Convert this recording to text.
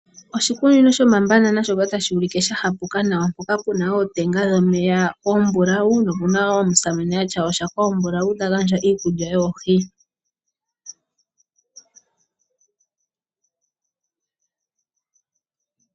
Oshikunino shomabanana otashi monika sha hapuka nawa. Opuna ootenga dhomeya oombulawu, po opuna omusamane e na oshako ombulawu ta gandja iikulya yoohi.